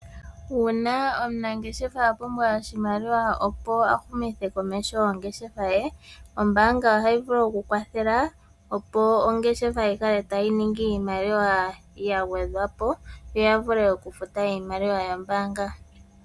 Uuna omunangeshefa a pumbwa oshimaliwa opo a humithe komeho ongeshefa ye, ombaanga ohayi vulu okukwathela, opo ongeshefa yi kale tayi ningi iimaliwa ya gwedhwa po, yo ya vule okufuta iimaliwa yombaanga.